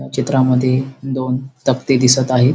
या चित्रामद्धे दोन तक्ते दिसत आहेत.